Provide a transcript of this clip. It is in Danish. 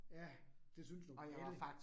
Ja, det synes du. Alle